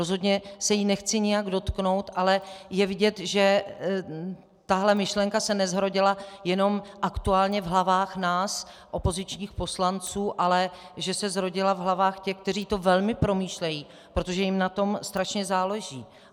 Rozhodně se jí nechci nijak dotknout, ale je vidět, že tato myšlenka se nezrodila jenom aktuálně v hlavách nás opozičních poslanců, ale že se zrodila v hlavách těch, kteří to velmi promýšlejí, protože jim na tom strašně záleží.